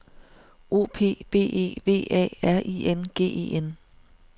O P B E V A R I N G E N